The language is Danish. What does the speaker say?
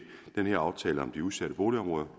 den her aftale om de udsatte boligområder